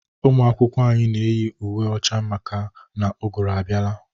Ụmụ akwụkwọ anyị na eyi uwe ọcha maka na ugụrụ abiala.